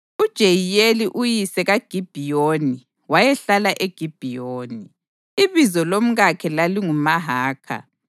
uJeyiyeli uyise kaGibhiyoni wayehlala eGibhiyoni. Ibizo lomkakhe lalinguMahakha,